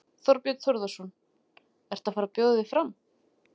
Þorbjörn Þórðarson: Ert þú að fara bjóða þig fram?